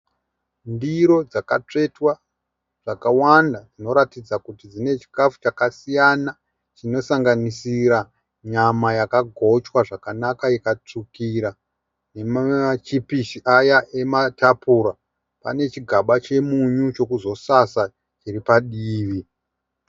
Ndiro dzakatsvetwa dzakawanda dzinoratidza kuti dzine chikafu chakasiyana chinosanganisira nyama yakagochwa zvakanaka ikatsvukira nemachipisi aya ematapura, pane chigaba chemunyu chekuzosasa chiripadivi.